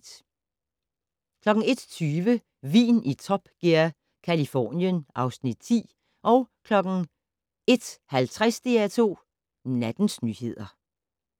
01:20: Vin i Top Gear - Californien (Afs. 10) 01:50: DR2 Nattens nyheder